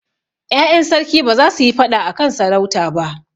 Ƴaƴan sarki ba za su yi faɗa a kan sarauta ba.